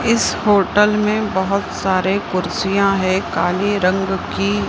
इस होटल में बहोत सारे कुर्सियां है काले रंग की।